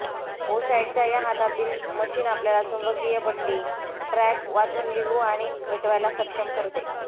ओसायडच्या या हातातील मशीन आपल्याला चुंबकीय पट्टी ट्रॅक वाचून लिहू आणि मिटवायला सक्षम करते